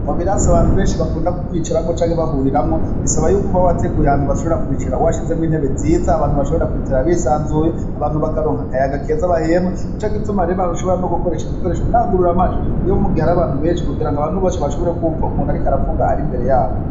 Mu birasi abantu benshi bakunda kwicaramwo canke bahuriramwo bisaba yuko uba wateguye ahantu bashobora kwicara washizemwo intebe nziza abantu bashobora kwicara bisanzuye, abantu bakaronka akayaga keza bahema nico gituma rero bashobora no gukoresha udukoresho ndangururamajwi iyo mu gihe ari abantu benshi kugira ngo abantu bose bashobore kumva umuntu ariko aravuga ari imbere yabo.